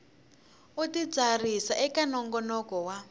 u titsarisa eka nongonoko wa